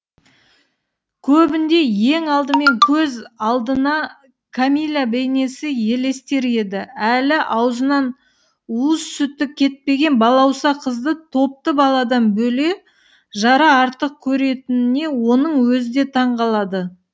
көбінде ең алдымен көз алдына кәмилә бейнесі елестер еді әлі аузынан уыз сүті кетпеген балауса қызды топты баладан бөле жара артық көретініне оның өзі де таңқалады